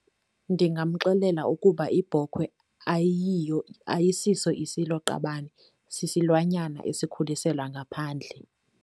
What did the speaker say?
Ndingamxelela ukuba ibhokhwe ayiyo, ayisiso isiloqabane, sisilwanyana esikhuliselwa ngaphandle.